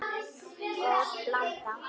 Góð blanda.